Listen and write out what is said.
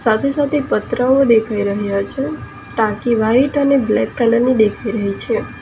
સાથે સાથે પતરાઓ દેખાઈ રહ્યા છે ટાંકી વાઈટ અને બ્લેક કલર ની દેખાઈ રહી છે.